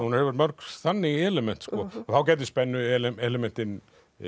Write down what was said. hún hefur mörg þannig element þá gætu spennu elementin